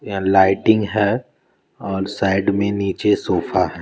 यहाँ लाइटिंग है और साइड में नीचे सोफा है।